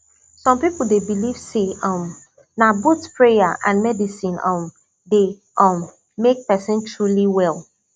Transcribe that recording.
some people dey believe say um na both prayer and medicine um dey um make person truly well